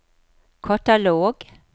katalog